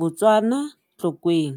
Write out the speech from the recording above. Botswana, Tlokweng.